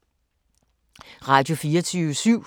Radio24syv